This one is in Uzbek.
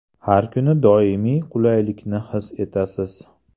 Har kuni doimiy qulaylikni his etasiz.